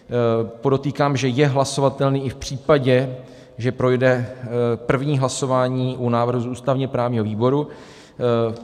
Podotýkám, že je hlasovatelný i v případě, že projde první hlasování u návrhu z ústavně-právního výboru.